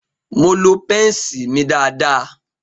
Mo lo pence mi dáadáa.